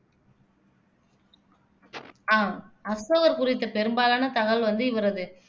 ஆஹ் அசோகர் குறித்த பெரும்பாலான தகவல் வந்து இவரது